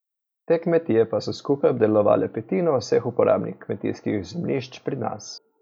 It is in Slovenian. Te kmetije pa so skupaj obdelovale petino vseh uporabnih kmetijskih zemljišč pri nas.